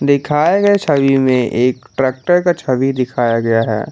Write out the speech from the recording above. दिखाए गए छवि में एक ट्रैक्टर का छवि दिखाया गया है।